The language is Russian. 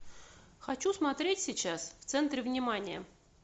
хочу смотреть сейчас в центре внимания